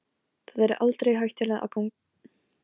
Þar er aldrei hættulegt að ganga um götur.